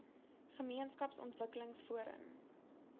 gemeenskaps ontwikkelings forum